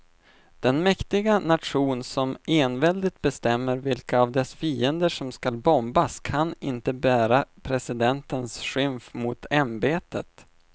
Den mäktiga nation som enväldigt bestämmer vilka av dess fiender som ska bombas kan inte bära presidentens skymf mot ämbetet.